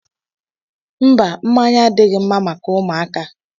Mba, mmanya adịghị mma maka ụmụaka.